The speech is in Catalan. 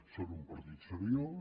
són un partit seriós